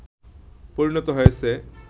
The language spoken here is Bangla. পরিণত হয়েছে”